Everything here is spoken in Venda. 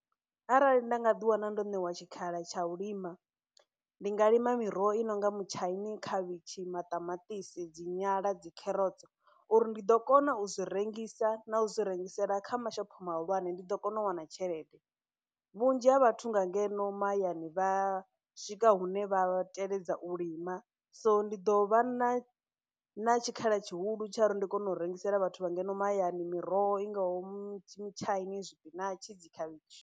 Arali nda nga ḓi wana ndo ṋewa tshikhala tsha u lima ndi nga lima miroho i nonga mutshaini, khavhishi, maṱamaṱisi, dzi nyala dzi kherotsi uri ndi ḓo kona u zwi rengisa na u zwi rengisela kha mashopho mahulwane ndi ḓo kona u wana tshelede. Vhunzhi ha vhathu nga ngeno mahayani vha swika hune vha teledza u lima so ndi ḓo vha na na tshikhala tshihulu tsha uri ndi kone u rengisela vhathu vha ngeno mahayani miroho i ngaho mutshaini, tshipinatshi dzi khavhishi.